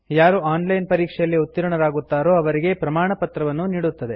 ಯಾರು online ಪರೀಕ್ಷೆಯಲ್ಲಿ ಉತ್ತೀರ್ಣರಾಗುತ್ತಾರೋ ಅವರಿಗೆ ಪ್ರಮಾಣಪತ್ರವನ್ನೂ ನೀಡುತ್ತದೆ